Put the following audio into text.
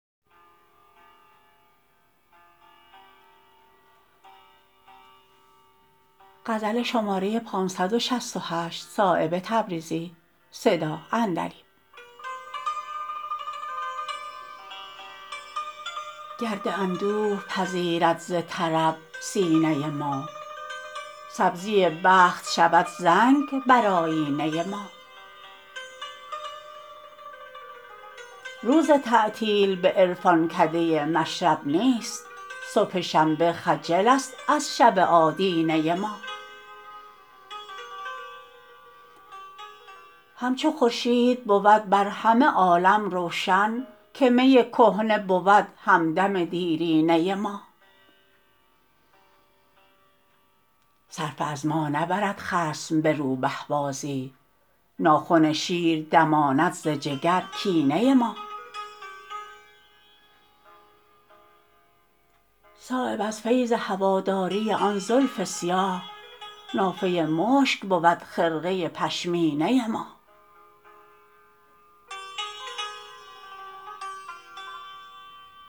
گرد اندوه پذیرد ز طرب سینه ما سبزی بخت شود زنگ بر آیینه ما روز تعطیل به عرفانکده مشرب نیست صبح شنبه خجل است از شب آدینه ما همچو خورشید بود بر همه عالم روشن که می کهنه بود همدم دیرینه ما صرفه از ما نبرد خصم به روبه بازی ناخن شیر دماند ز جگر کینه ما صایب از فیض هواداری آن زلف سیاه نافه مشک بود خرقه پشمینه ما